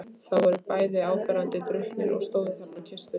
Þau voru bæði áberandi drukkin og stóðu þarna og kysstust.